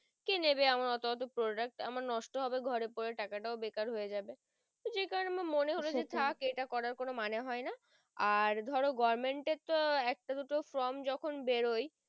কে নেবে আমার অত অত product আমার নষ্ট হবে ঘরে পরে টাকা টাও বেকার হয়ে যাবে যে কারণে আমার মনে হলো যে থাক এটা করার কোনো মানে হয় না আর ধরো government এর একটা দুটো from যখন বেরই